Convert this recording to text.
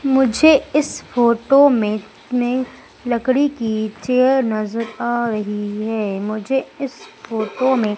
मुझे इस फोटो में हमें लकड़ी की चेयर नजर आ रही है मुझे इस फोटो में--